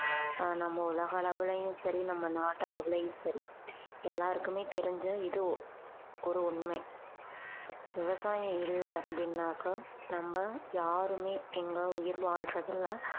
ஆஹ் நம்ம உலகளவுலையும் சரி நம்ம நாட்டளவுலையும் சரி எல்லாருக்குமே தெரிஞ்ச இது ஒ~ ஒரு உண்மை விவசாயம் இல்லை அப்படின்னாக்கா நம்ம யாருமே இங்க உயிர் வாழ்றதில்லை